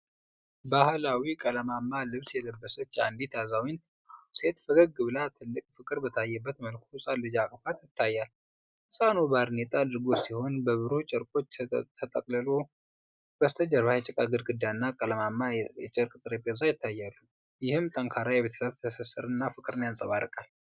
ባህላዊ ቀለማማ ልብስ የለበሰች አንዲት አዛውንት ሴት ፈገግ ብላ ትልቅ ፍቅር በታየበት መልኩ ሕፃን ልጅ አቅፋ ይታያል። ሕፃኑ ባርኔጣ አድርጎ ሲሆን፣ በብሩህ ጨርቆች ተጠቅልሏል። በስተጀርባ የጭቃ ግድግዳና ቀለማማ የጨርቅ ጠረጴዛ ይታያሉ፤ ይህም ጠንካራ የቤተሰብ ትስስርና ፍቅርን ያንጸባርቃል።